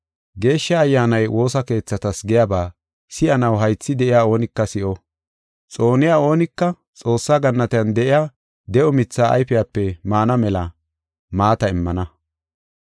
Geeshsha Ayyaanay woosa keethatas giyaba si7anaw haythi de7iya oonika si7o. Xooniya oonika Xoossaa gannatiyan de7iya de7o mithee ayfepe maana mela maata immana.”